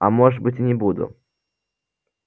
а может быть и не буду